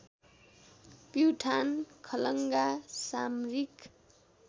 प्युठान खलङ्गा सामरिक